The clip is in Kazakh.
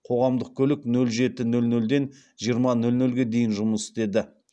қоғамдық көлік нөл жеті нөл нөлден жиырма нөл нөлге дейін жұмыс істеді